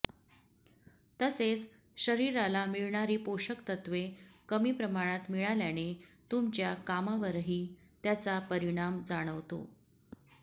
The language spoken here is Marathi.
तसेच शरीराला मिळाणारी पोषक तत्त्वे कमी प्रमाणात मिळाल्याने तुमच्या कामावरही त्याचा परिणाम जाणवतो